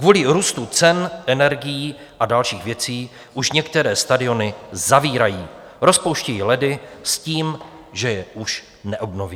Kvůli růstu cen energií a dalších věcí už některé stadiony zavírají, rozpouštějí ledy s tím, že je už neobnoví.